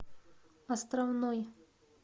островной